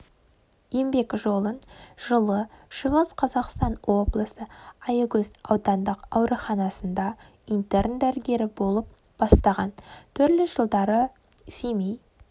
еңбек жолын жылы шығыс қазақстан облысы аягөз аудандық ауруханасында интерн дәрігер болып бастаған түрлі жылдары семей